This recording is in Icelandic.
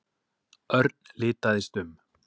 Örn litaðist um.